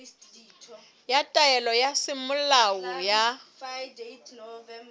ya taelo ya semolao ya